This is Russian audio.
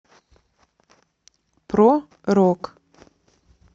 про рок